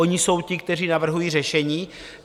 Oni jsou ti, kteří navrhují řešení.